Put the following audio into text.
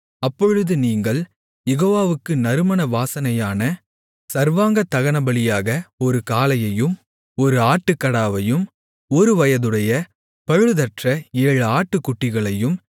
அப்பொழுது நீங்கள் யெகோவாவுக்கு நறுமண வாசனையான சர்வாங்கதகனபலியாக ஒரு காளையையும் ஒரு ஆட்டுக்கடாவையும் ஒருவயதுடைய பழுதற்ற ஏழு ஆட்டுக்குட்டிகளையும்